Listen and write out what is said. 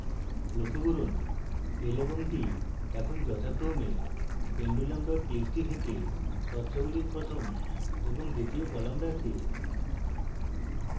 লক্ষ্য করুন l এবং t এখন যথাক্রমে pendulum txt থেকে তথ্যগুলির প্রথম এবং দ্বিতীয় কলাম রাখে